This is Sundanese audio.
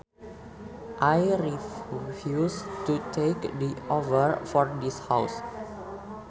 I refuse to take the offer for this house